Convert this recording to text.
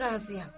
Razıyam.